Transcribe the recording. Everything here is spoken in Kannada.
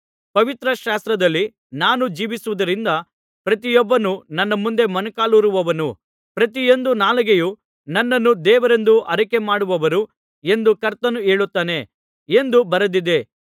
ಪವಿತ್ರ ಶಾಸ್ತ್ರದಲ್ಲಿ ನಾನು ಜೀವಿಸುವುದರಿಂದ ಪ್ರತಿಯೊಬ್ಬನೂ ನನ್ನ ಮುಂದೆ ಮೊಣಕಾಲೂರುವನು ಪ್ರತಿಯೊಂದು ನಾಲಿಗೆಯೂ ನನ್ನನ್ನು ದೇವರೆಂದು ಆರಿಕೆಮಾಡುವರು ಎಂದು ಕರ್ತನು ಹೇಳುತ್ತಾನೆ ಎಂದು ಬರೆದಿದೆ